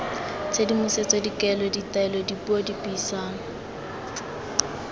tshedimosetso dikaelo ditaelo dipuo dipuisano